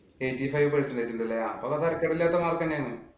Eighty five percentage ഉണ്ടല്ലേ. അപ്പൊ വല്യ തരക്കേടില്ലാത്ത mark തന്നെയാണ്.